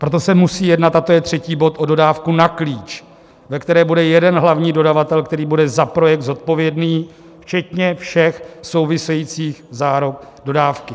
Proto se musí jednat, a to je třetí bod, o dodávku na klíč, ve které bude jeden hlavní dodavatel, který bude za projekt zodpovědný včetně všech souvisejících záruk dodávky.